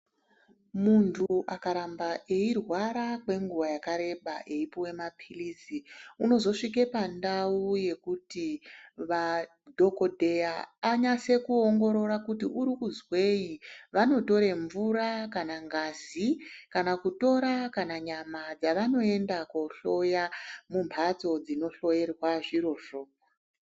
Muntu akaramba eirwara kwenguva yakareba eyipiwa mapilizi unozosvike pantau yekuti dhokodheya anyase kuongorora kuti uri kuzweyi, vanotora mvura kana ngazi kana kutora kana nyama dzavanoenda kunohloya mumbatso dzinohloyerwa zvirizvo.